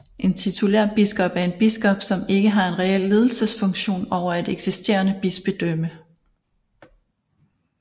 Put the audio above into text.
En titulærbiskop er en biskop som ikke har en reel ledelsesfunktion over et eksisterende bispedømme